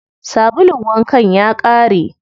Sabulun wankan ya ƙare.